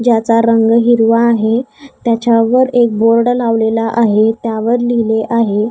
ज्याचा रंग हिरवा आहे त्याच्यावर एक बोर्ड लावलेला आहे त्यावर लिहिले आहे --